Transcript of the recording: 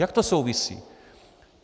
Jak to souvisí?